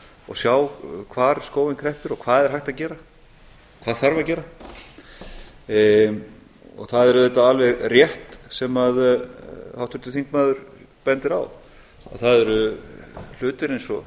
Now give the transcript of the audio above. og sjá hvar skórinn kreppir og hvað er hægt að gera og hvað þarf að gera það er auðvitað alveg rétt sem háttvirtur þingmaður bendir á að það eru örlitlir hlutir eins og